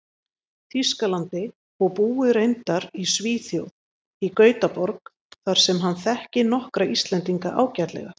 Þýskalandi, og búi reyndar í Svíþjóð, í Gautaborg, þar sem hann þekki nokkra Íslendinga ágætlega.